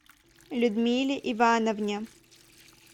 людмиле ивановне